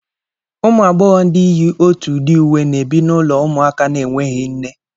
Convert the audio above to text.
Ụmụ agbọghọ ndị yi otu udi uwe na-ebi n'ụlọ ụmụaka na-enweghị nne